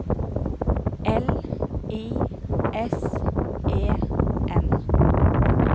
L I S E N